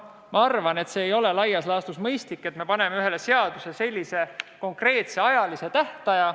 Ma arvan, et ei ole laias laastus mõistlik panna ühele seadusele selline konkreetne tähtaeg.